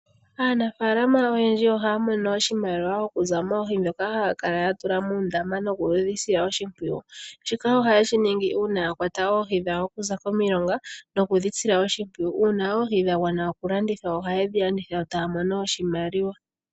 Aanafalama oyendji ohaya mono oshimaliwa okuza moohi ndhoka haya kala yatula muundama noku dhisila oshimpwiyu. Shika ohaye shiningi uuna yakwata oohi dhawo okuza komilonga noku dhisila oshimpwiyu. Uuna oohi dhagwana oku landithwa, ohaye dhi landitha yo taa mono oshimaliwa.